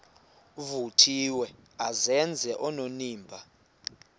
vuthiwe azenze onenimba